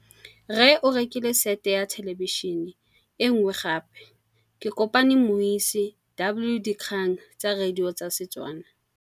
Rre o rekile sete ya thêlêbišênê e nngwe gape. Ke kopane mmuisi w dikgang tsa radio tsa Setswana.